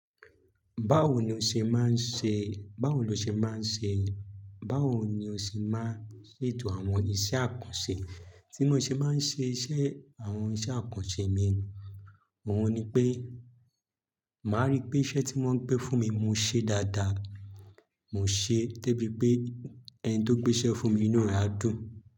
Báwo ni o ṣe máa ń ṣe, báwo lo ṣe máa ń ṣe, báwo ni o ṣe máa ń ṣètò àwọn iṣẹ́ àkànṣe, tí ni o ṣe máa ń ṣe iṣẹ́ àwọn iṣẹ́ àkànṣe mi? Òun ni pé, màá rí pé iṣẹ́ tí wọ́n ń gbé fún mi, mo ṣe dáadáa. Mo ṣe tó bí pé ẹni tó gbé iṣẹ́ fún mi nínú rẹ̀ á dùn.